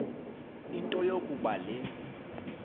into yokuba le